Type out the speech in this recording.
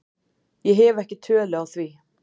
Ég hef ekki tölu á því.